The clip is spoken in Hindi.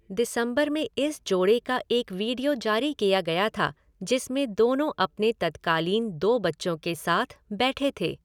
दिसंबर में इस जोड़े का एक वीडियो जारी किया गया था जिसमें दोनों अपने तत्कालीन दो बच्चों के साथ बैठे थे।